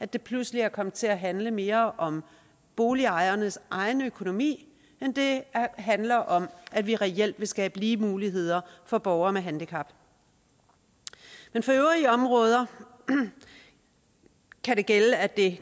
det pludselig er kommet til at handle mere om boligejernes egen økonomi end det handler om at vi reelt vil skabe lige muligheder for borgere med handicap for øvrige områder kan det gælde at det